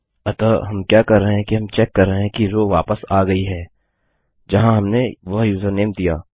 अतः हम क्या कर रहे हैं कि हम चेक कर रहे हैं कि रो वापस आ गयी है जहाँ हमने वह यूजरनेम दिया